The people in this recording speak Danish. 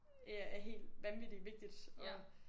Ja er helt hvad med det vigtigt